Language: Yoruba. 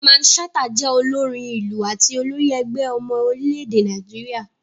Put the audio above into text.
Mamman Shata jẹ́ olórin ìlù àti olórí ẹgbẹ́ ọmọ orílẹ̀-èdè Nàìjíríà.